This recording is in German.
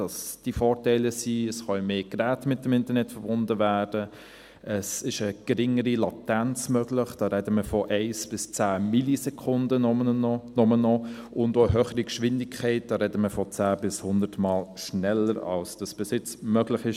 Diese Vorteile sind, dass mehr Geräte mit dem Internet verbunden werden können, dass eine geringere Latenz möglich ist – da sprechen wir von nur noch 1 bis 10 Millisekunden –, ebenso wie eine höhere Geschwindigkeit – da sprechen wir von 10- bis 100-mal schneller, als dies bis jetzt möglich war.